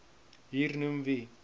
hier noem wie